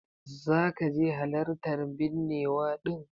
Zaka je halartan binnewa din?